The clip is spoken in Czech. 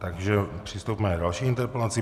Takže přistoupíme k další interpelaci.